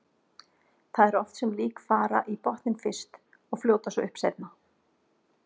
Það er oft sem lík fara í botninn fyrst og fljóta svo upp seinna.